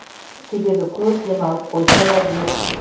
себебі көп демалып қойса да дерт